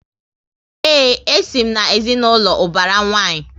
Ee, e si m na ezinaụlọ ubara nwanyi